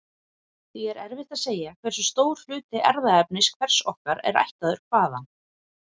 Því er erfitt að segja hversu stór hluti erfðaefnis hvers okkar er ættaður hvaðan.